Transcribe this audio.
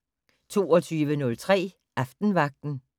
22:03: Aftenvagten